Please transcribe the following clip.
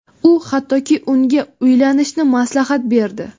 U, hattoki unga uylanishni maslahat berdi.